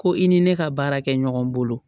Ko i ni ne ka baara kɛ ɲɔgɔn bolo